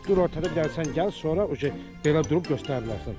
Dur ortada bir dənə sən gəl, sonra uje belə durub göstərə bilərsən.